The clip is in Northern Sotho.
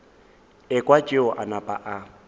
ekwa tšeo a napa a